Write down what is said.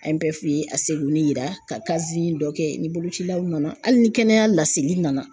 An ye bɛɛ f'i ye a seginin yira ka dɔ kɛ ni bolocilaw nana hali ni kɛnɛya laseli nana.